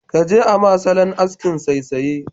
Kaje ama salon askin saisaye.